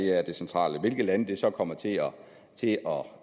er det centrale hvilke lande det så kommer til